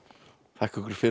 þakka ykkur fyrir